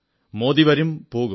മോദി വരും പോകും